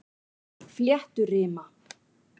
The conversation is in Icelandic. Flétturima